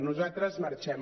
nosaltres marxem